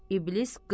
İblis qızğın.